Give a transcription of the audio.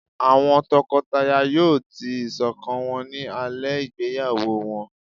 awọn tọkọtaya yóò tii iṣọkan wọn ni alẹ igbeyawo wọn